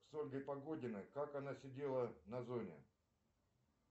с ольгой погодиной как она сидела на зоне